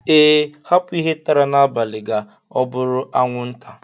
Ee, hapu ihe tara n'abalị ga obụrụ anwụnta